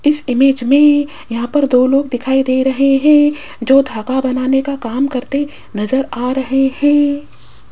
इस इमेज में यहां पर दो लोग दिखाई दे रहे हैं जो धागा बनाने का काम करते नजर आ रहे हैं।